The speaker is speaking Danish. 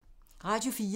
Radio 4